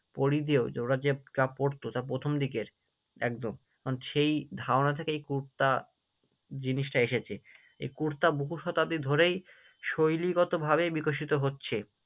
পরিধেয় যে ওরা যে পড়তো, তা প্রথম দিকের একদম মানে সেই ধারণা থেকেই কুর্তা জিনিসটা এসেছে, এই কুর্তা বহু শতাব্দী ধরেই শৈলীগতভাবে বিকশিত হচ্ছে।